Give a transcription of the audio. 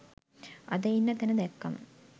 අද ඉන්න තැන දැක්කම